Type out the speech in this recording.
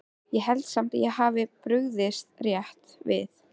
Ég held samt að ég hafi brugðist rétt við